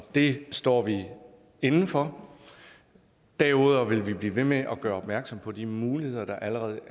det står vi inde for derudover vil blive ved med at gøre opmærksom på de muligheder der allerede